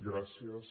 gràcies